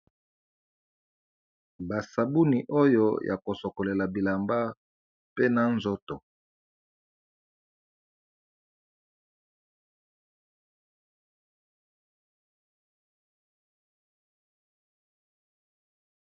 Basabuni oyo ya ko sokolela bilamba pe na nzoto.